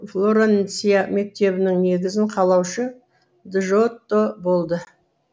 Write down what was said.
флоренция мектебінің негізін қалаушы джотто болды